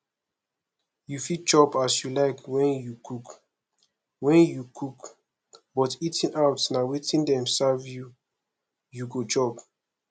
you fit chop as you like when you cook when you cook but eating out na wetin dem serve you you go chop